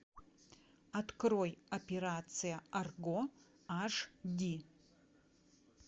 открой операция арго аш ди